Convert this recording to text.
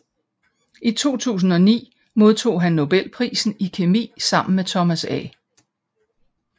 I 2009 modtog han nobelprisen i kemi sammen med Thomas A